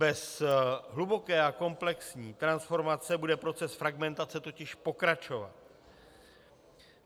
Bez hluboké a komplexní transformace bude proces fragmentace totiž pokračovat.